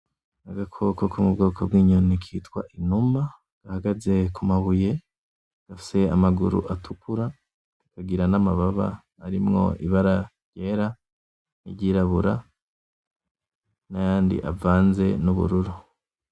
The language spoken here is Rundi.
Agakoko ko mubwoko bw’inyoni kitwa inuma gahagaze ku mabuye gafise amaguru atukura kakagira n’amababa arimwo ibara ryera niryirabura nayandi avanze n’ubururu.